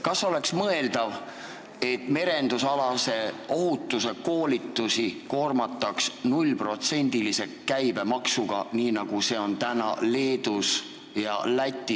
Kas oleks mõeldav, et merendusalase ohutuse koolitusi koormataks nullprotsendilise käibemaksuga, nii nagu see on Leedus ja Lätis?